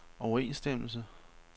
overensstemmelse